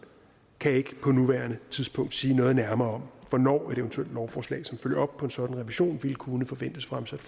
kan ikke på nuværende tidspunkt sige noget nærmere om hvornår et eventuelt lovforslag som følger op på en sådan revision ville kunne forventes fremsat